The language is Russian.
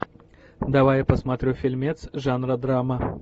давай я посмотрю фильмец жанра драма